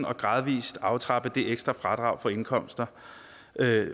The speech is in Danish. og gradvist aftrappe det ekstra fradrag for indkomster